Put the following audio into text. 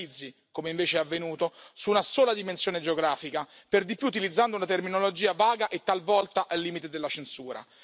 non si focalizzi, come invece è avvenuto, su una sola dimensione geografica, per di più utilizzando una terminologia vaga e talvolta al limite della censura.